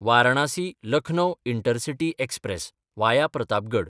वारणासी–लखनौ intercity express (via Pratapgad)